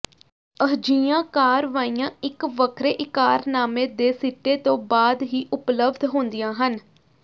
ਅਜਿਹੀਆਂ ਕਾਰਵਾਈਆਂ ਇਕ ਵੱਖਰੇ ਇਕਰਾਰਨਾਮੇ ਦੇ ਸਿੱਟੇ ਤੋਂ ਬਾਅਦ ਹੀ ਉਪਲਬਧ ਹੁੰਦੀਆਂ ਹਨ